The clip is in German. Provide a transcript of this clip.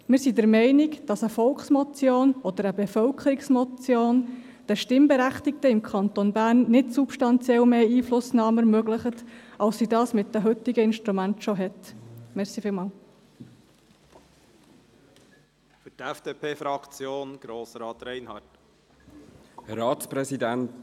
Wir sind der Meinung, dass eine Volksmotion oder eine Bevölkerungsmotion den Stimmberechtigten im Kanton Bern nicht substanziell mehr Einflussnahme ermöglicht, als sie diese mit den heutigen Instrumenten bereits besitzen.